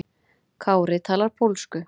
Kári talar pólsku.